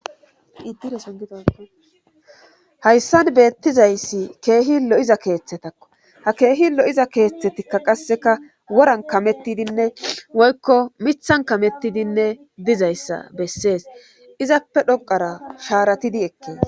Iddideson gidaaga hayssan beettizayssi keehi lo7iza keeththetakko ha keehi lo7iza keeththetikka qasseka woran kamettidinne woykko mithan kamettidinne dizayssa bessees izappe dhoqara shaaratidi ekke